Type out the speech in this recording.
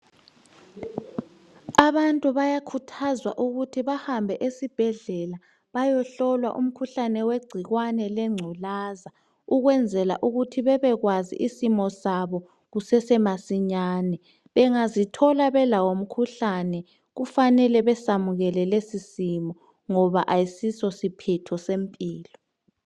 Abantu bayakhuthazwa ukuthi bahambe esibhedlela bayohlolwa umkhuhlane wegcikwane lengculaza okwenzela ukuthi bebekwazi isimo sabo kusesemasinyane. Bengazithola belawo umkhuhlane kufanele besamukele lesisimo ngoba ayisiso siphetho sempilo.